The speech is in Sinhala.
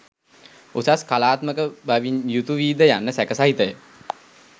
උසස් කලාත්මක බවින් යුතු වීද යන්න සැක සහිතය.